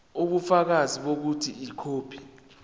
ubufakazi bokuthi ikhophi